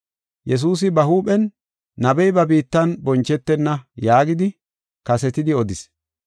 Yesuusi ba huuphen, “Nabey ba biittan bonchetenna” yaagidi kasetidi odis.